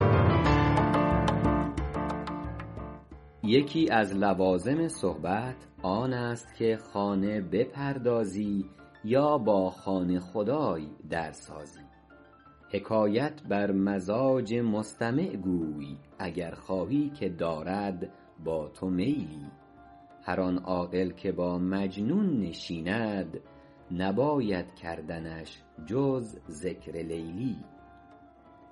یکی از لوازم صحبت آن است که خانه بپردازی یا با خانه خدای در سازی حکایت بر مزاج مستمع گوی اگر خواهی که دارد با تو میلی هر آن عاقل که با مجنون نشیند نباید کردنش جز ذکر لیلی